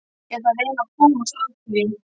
Ég ætla að reyna að komast að því.